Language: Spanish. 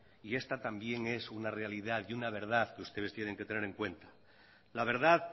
y esta también es una realidad y una verdad que ustedes tienen que tener en cuenta la verdad